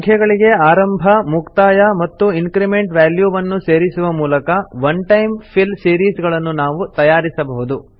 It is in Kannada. ಸಂಖ್ಯೆಗಳಿಗೆ ಆರಂಭ ಮುಕ್ತಾಯ ಮತ್ತು ಇನ್ಕ್ರಿಮೆಂಟ್ ವ್ಯಾಲ್ಯೂವನ್ನು ಸೇರಿಸುವ ಮೂಲಕ ಒನ್ ಟೈಮ್ ಫಿಲ್ ಸಿರೀಸ್ ಗಳನ್ನು ನಾವು ತಯಾರಿಸಬಹುದು